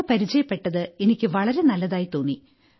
അവരെപരിചയപ്പെട്ടത് എനിക്ക് വളരെ നല്ലതായി തോന്നി